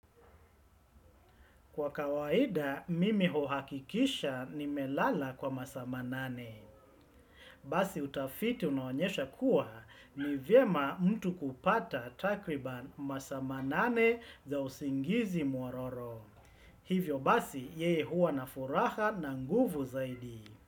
Kwa kawaida, mimi huhakikisha nimelala kwa masaa manane. Basi utafiti unaonyesha kuwa ni vyema mtu kupata takriban masaa manane za usingizi nyororo. Hivyo basi, yeye huwa na furaha na nguvu zaidi.